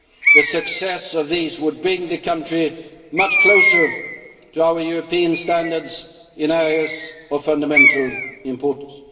The success of these would bring the country much closer to our European standards in areas of fundamental importance.